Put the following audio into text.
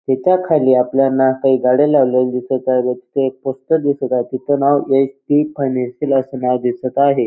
त्याच्याखाली आपल्याना काही गाड्या लावलेल्या दिसत आहे व तिथं एक पोस्टर दिसत आहे तिथं नाव एच.डी. फाईन्यानशियल असं नाव दिसत आहे.